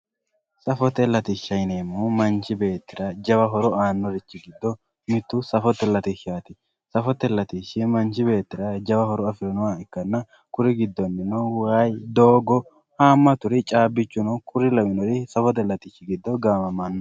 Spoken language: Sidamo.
Safote latishsha yineemmohu manchi beettira jawa horo aannnorichi giddo mittu safote latishshaati. Safote latishshi manchi beettira jawa horo afirino